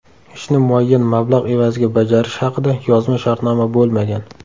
Ishni muayyan mablag‘ evaziga bajarish haqida yozma shartnoma bo‘lmagan.